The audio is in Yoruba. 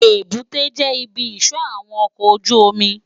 Ébùté jè ibi isò áwòn òkò ójùómì